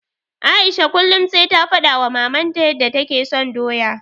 Aisha kullum sai ta faɗawa Mamanta yanda take son doya.